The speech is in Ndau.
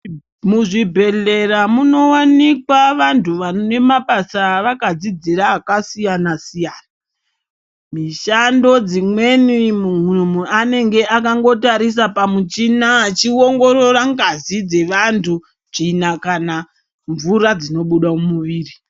Muzvibhedhlera munowanikwa vantu vanemabasa avakadzidzira akasiyana siyana , mishando dzimweni munhu anenge akangotarisa pamuchina achiongorora ngazi dzevantu , tsvina kana mvura dzinobuda mumuviri.